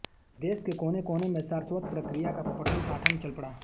देश के कोने कोने में सारस्वतप्रक्रिया का पठनपाठन चल पड़ा